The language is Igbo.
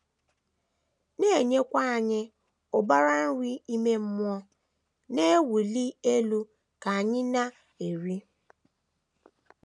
na - enyekwa anyị ụbara nri ime mmụọ na - ewuli elu ka anyị na - eri.